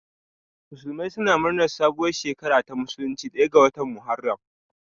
Musulmai suna murnar sabuwar shekara ta musulunci ɗaya ga watan Muharram.